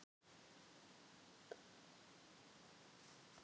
Enn einn ísbjörninn hefur verið felldur